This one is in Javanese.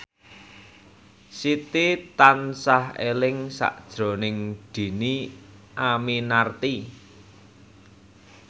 Siti tansah eling sakjroning Dhini Aminarti